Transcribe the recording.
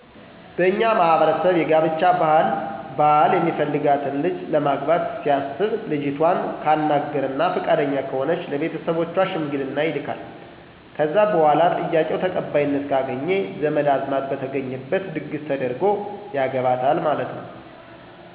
በእኛ ማህበረሰብ የጋብቻ ባህል ባል የሚፈልጋትን ልጅ ለማግባት ሲያሰብ ልጅቷን ካናገረና ፍቃደኛ ከሆነች ለቤተሰቦቿ ሸምግልና ይልካል ከዛ በኋላ ጥያቄው ተቀባይነት ካገኘ ዘመድ አዝማድ በተገኘበት ድግሰ ተደርጎ ያገባታል ማለት ነው።